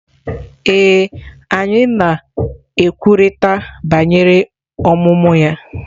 Ee, anyị na-ekwurịta banyere ọmụmụ ya.